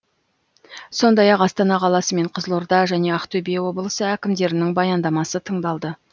сондай ақ астана қаласы мен қызылорда және ақтөбе облысы әкімдерінің баяндамасы тыңдалды